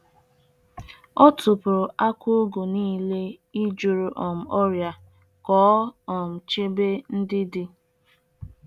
Ana Ana m eji mmiri e sipụtara n'ahihia um neem eme mmịrị nri akwụkwọ ihe ubi.